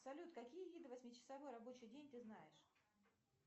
салют какие виды восьмичасовой рабочий день ты знаешь